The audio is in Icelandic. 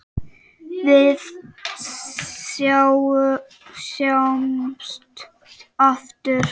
Við sjáumst aftur.